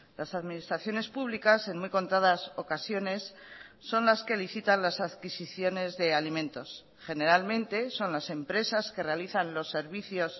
las administraciones públicas en muy contadas ocasiones son las que licitan las adquisiciones de alimentos generalmente son las empresas que realizan los servicios